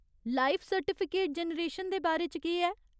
Life certificate generation दे बारे च केह् ऐ?